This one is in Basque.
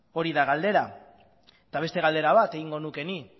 hori da galdera eta beste galdera bat egingo nuke nik